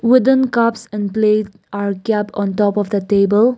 wooden cups and plate on top of the table.